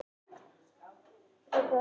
Gizur sneri sér að Marteini.